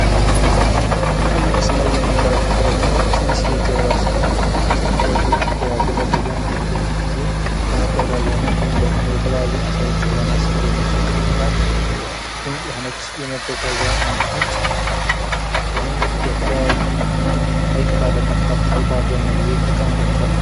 ከዚህ ምስል ላይ የምንመልከተው ደግሞ ትንሽዬ ጀልባ ስትሆነ ይችም በግለሰብ ዘንድ ለመጓጓዣነት ወይም ደግሞ የተለያዩ አሳዎችን ለማስገር የምንጠቀምባት ድንቅ የሆነች የመጓጓዣ አይነት ነች። ይህም በተለያዩ ሀይቅ ባለባቸው አካባቢዎች ይጠቀሙባቸዋል።